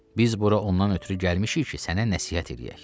Biz bura ondan ötrü gəlmişik ki, sənə nəsihət eləyək.